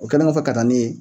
O kɛlen kɔfɛ katani ye